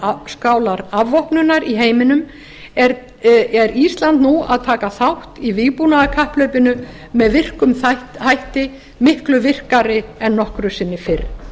á skálar afvopnunar í heiminum er ísland nú að taka þátt í vígbúnaðarkapphlaupinu með virkum hætti miklu virkari en nokkru sinni fyrr